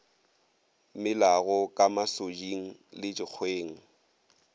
melago ka masoding le dikgweng